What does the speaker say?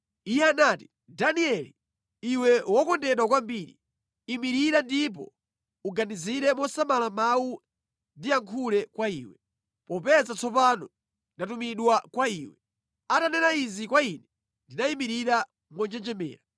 Iye anati, “Danieli, iwe wokondedwa kwambiri, imirira ndipo uganizire mosamala mawu ndiyankhule kwa iwe, popeza tsopano ndatumidwa kwa iwe.” Atanena izi kwa ine ndinayimirira monjenjemera.